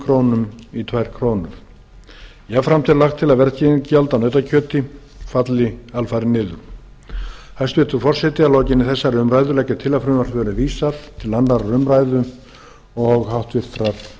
tvær krónur jafnframt er lagt til að verðskerðingargjald af nautakjöti falli alfarið niður hæstvirtur forseti að lokinni þessari umræðu legg ég til að frumvarpinu verði vísað til annarrar umræðu og háttvirtur